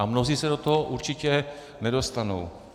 A mnozí se do toho určitě nedostanou.